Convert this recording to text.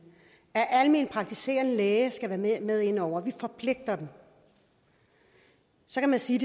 at almenpraktiserende læge skal være med inde over vi forpligter dem så kan man sige